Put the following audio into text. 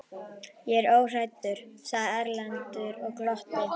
Ég er óhræddur, sagði Erlendur og glotti.